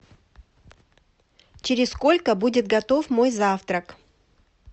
через сколько будет готов мой завтрак